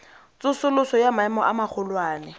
tsosoloso ya maemo a magolwane